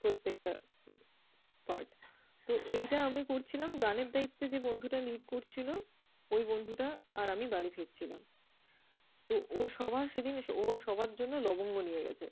প্রত্যেকটা আহ part । তো এইটা আমি করছিলাম। গানের দায়িত্বে যে বন্ধুটা lead করছিল, ওই বন্ধুটা আর আমি বাড়ি ফিরছিলাম। তো ও সবার সেদিন ও সবার জন্য লবঙ্গ নিয়ে গেছে।